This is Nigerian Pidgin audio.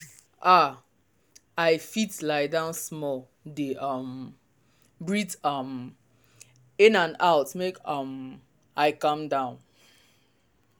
ah i fit lie down small dey um breathe um in and out make um i calm down.